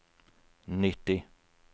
nitti